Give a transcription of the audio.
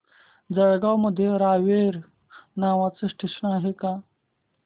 जळगाव मध्ये रावेर नावाचं स्टेशन आहे का